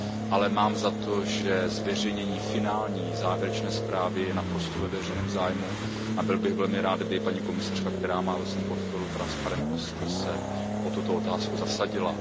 Ale mám za to, že zveřejnění finální zprávy je naprosto ve veřejném zájmu a byl bych velmi rád, kdyby i paní komisařka, která má ve svém portfoliu transparentnost, se o tuto otázku zasadila.